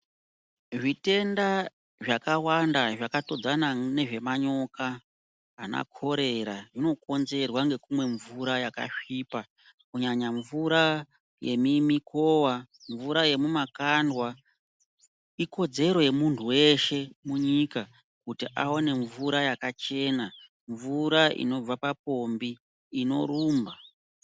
Zvitenda zvakawanda zvakatodzana nezvemanyoka anakorera zvinokonzerwa ngekumwa mvura yakasvipa, mvura yemimikowa mvura yemumakandwa, ikodzero yemuntu weshe munyika kuti awane mvura yakachena mvura inobva papombi inorumba.